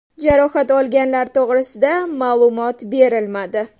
Jarohat olganlar to‘g‘risida ma’lumot berilmadi.